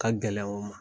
Ka gɛlɛn o ma